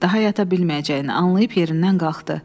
Daha yata bilməyəcəyini anlayıb yerindən qalxdı.